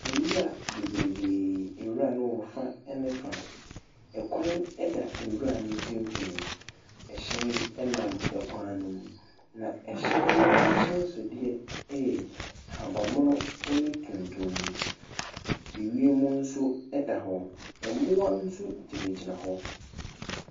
Nwura beberebe, nwura no wɔ fa ne fa, kwan da nwura no mfimfini, hyɛn nam kwan ne mu, na hyɛn no ahyɛnsodeɛ yɛ ahabanmono ne tuntum. Wiem mu nso da wɔ, mmoa nso gyinagyina wɔ.